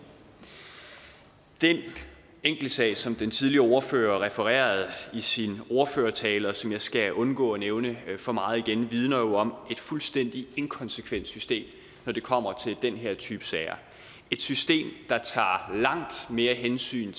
den enkeltsag som den tidligere ordfører refererede i sin ordførertale og som jeg skal undgå at nævne for meget igen vidner jo om et fuldstændig inkonsekvent system når det kommer til den her type sager et system der tager langt mere hensyn